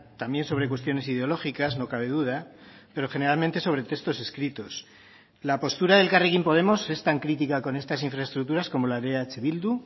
también sobre cuestiones ideológicas no cabe duda pero generalmente sobre textos escritos la postura de elkarrekin podemos es tan crítica con estas infraestructuras como la de eh bildu